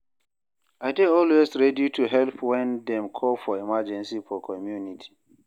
I dey always ready to help when dem call for emergency for community.